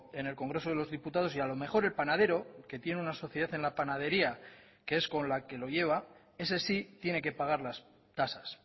en el congreso de los diputados y a lo mejor el panadero que tiene una sociedad en la panadería que es con la que lo lleva ese sí tiene que pagar las tasas